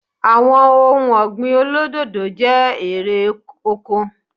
Àwọn ohun ọ̀gbìn olódòdó jẹ́ erè oko